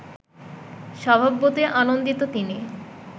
স্বভাবতই আনন্দিত তিনি